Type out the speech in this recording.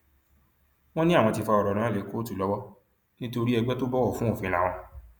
wọn ní àwọn ti fa ọrọ náà lé kóòtù lọwọ nítorí ẹgbẹ tó bọwọ fún òfin láwọn